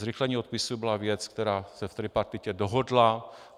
Zrychlení odpisů byla věc, která se v tripartitě dohodla.